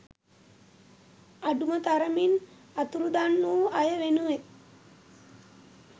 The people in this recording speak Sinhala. අඩුම තරමින් අතුරුදන් වූ අය වෙනුවෙන්